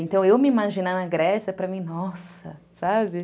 Então, eu me imaginar na Grécia, para mim, nossa, sabe?